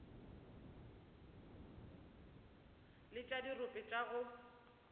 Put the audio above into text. le tša dirope tša go